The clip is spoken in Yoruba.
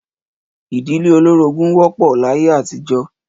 Ìdílé olórogún wó̩p̩ò̩ láyé àtijó̩